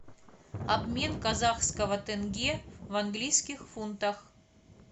обмен казахского тенге в английских фунтах